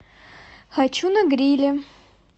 хочу на гриле